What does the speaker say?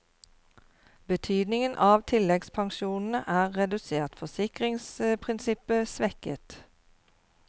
Betydningen av tilleggspensjonene er redusert, forsikringsprinsippet svekket.